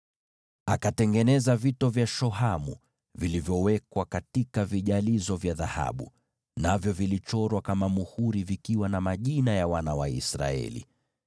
Akatengeneza vito vya shohamu vilivyowekwa katika vijalizo vya dhahabu, navyo vilichorwa na majina ya wana wa Israeli kama vile muhuri huchorwa.